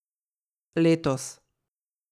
Letos.